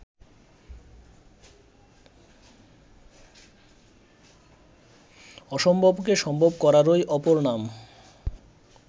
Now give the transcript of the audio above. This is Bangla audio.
অসম্ভবকে সম্ভব করারই অপর নাম